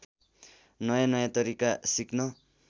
नयाँनयाँ तरिका सिक्न